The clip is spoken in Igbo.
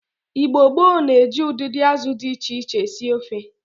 Igbo gboo na-eji udidi azụ di iche iche esi ofe.